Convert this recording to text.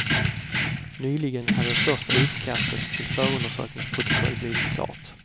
Nyligen har det första utkastet till förundersökningsprotokoll blivit klart.